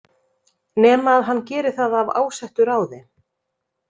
Nema að hann geri það af ásettu ráði.